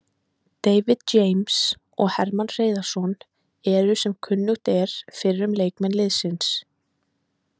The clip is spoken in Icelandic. David James og Hermann Hreiðarsson eru sem kunnugt er fyrrum leikmenn liðsins.